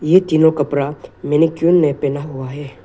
ये तीनों कपड़ा मैनिक्विन ने पहना हुआ है।